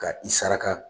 Ka i saraka